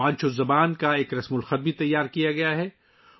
وانچو زبان کا رسم الخط بھی تیار کیا گیا ہے